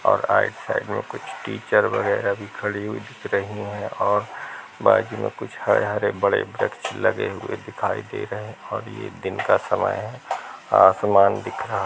और आइड साइड में कुछ टीचर वगैरह भी खड़ी हुई दिख रही है और बाजू मे कुछ हरे - हरे वृक्ष लगे हुए दिखाई दे रहे हैं और ये दिन का समय है आसमान दिख रहा --